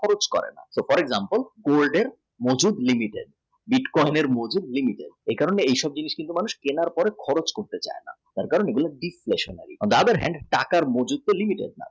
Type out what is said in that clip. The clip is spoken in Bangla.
lose করে না for example bitcoin এর মতন হক এর জন্য এই সব জিনিস কেনার পড়ে খরচ করতে চাই না কারণ এটা deflationary rather টাকার